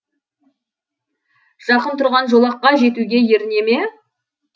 жақын тұрған жолаққа жетуге еріне ме